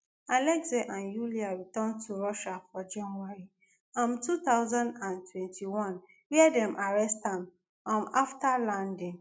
alexei and yulia return to russia for january um two thousand and twenty-one wia dem arrest am um afta landing